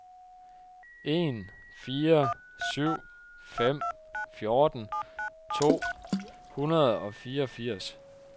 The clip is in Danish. en fire syv fem fjorten to hundrede og fireogfirs